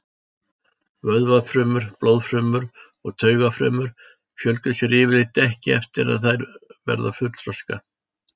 Vöðvafrumur, blóðfrumur og taugafrumur fjölga sér yfirleitt ekki eftir að þær verða fullþroska.